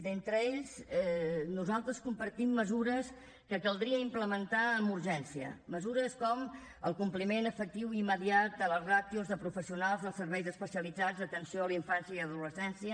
d’entre aquests nosaltres compartim mesures que caldria implementar amb urgència mesures com el compliment efectiu i immediat de les ràtios de professionals als serveis especialitzats d’atenció a la infància i adolescència